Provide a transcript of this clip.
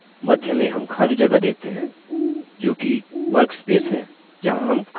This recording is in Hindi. मध्य में हम खाली जगह देखते है जोकि workspace है जहाँ हम काम करेंगे